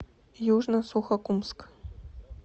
южно сухокумск